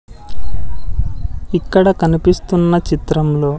ఇక్కడ కనిపిస్తున్న చిత్రంలో--